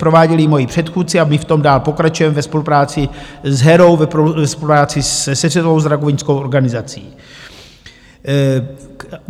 Prováděli ji moji předchůdci a my v tom dál pokračujeme ve spolupráci s Herou , ve spolupráci se Světovou zdravotnickou organizací.